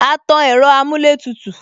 A tan ẹ̀rọ amuletutu